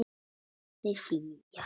Þeir flýja.